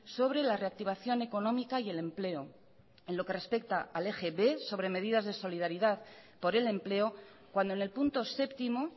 sobre la reactivación económica y el empleo en lo que respecta al eje b sobre medidas de solidaridad por el empleo cuando en el punto séptimo